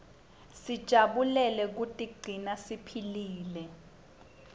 sijabulele kutiguna siphilile